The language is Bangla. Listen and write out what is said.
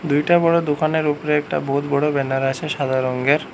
দুইটা বড়ো দোকানের উপরে একটা বহুত বড়ো ব্যানার আছে সাদা রঙ্গের।